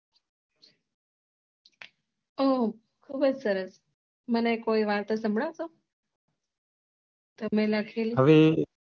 ઓહ બહુ સરસ મને કોઈ વાતો સંભળાવ છો હવે